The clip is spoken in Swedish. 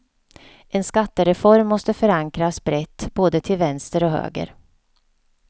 En skattereform måste förankras brett både till vänster och höger.